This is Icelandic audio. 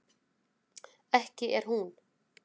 ekki er hún